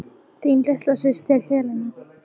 Þín litla systir, Helena.